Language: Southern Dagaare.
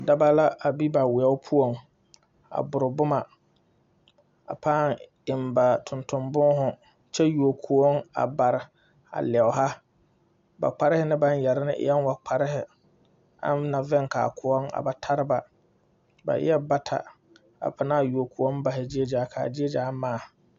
Daba la a be wɛo poɔŋ a bore boma a pãã eŋ ba tonton būūhū kyɛ yuo kõɔŋ a bare a lɛoha ba kparɛɛ ne baŋ yɛre ne ɛɛŋ wo kparihi aŋ na veŋ kaa kõɔŋ a ba tariba ba eɛɛ bata a panaa yuo kõɔŋ bahi gyie gyaa kaa gyie gyaa mãã.